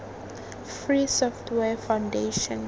free software foundation